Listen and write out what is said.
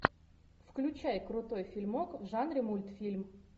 включай крутой фильмок в жанре мультфильм